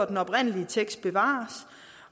den oprindelige tekst bevares